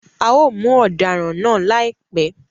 A o mu odaran náà laipẹ